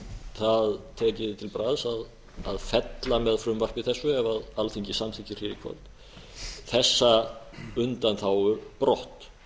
það tekið til bragðs að fella með frumvarpi þessu ef alþingi samþykkir hér í kvöld þessa undanþágu brott